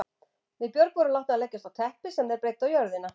Við Björg vorum látnar leggjast á teppi sem þeir breiddu á jörðina.